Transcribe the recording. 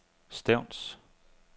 Stevns